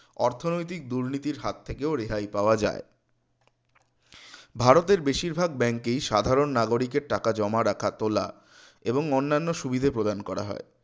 অর্থনৈতিক দুর্নীতির হাত থেকেও রেহাই পাওয়া যায় ভারতের বেশিরভাগ bank এই সাধারণ নাগরিকের টাকা জমা রাখা তোলা এবং অন্যান্য সুবিধা প্রদান করা হয়